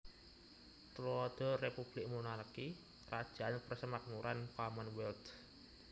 Tuladha Republik Monarki / Krajaan Persemakmuran Commonwealth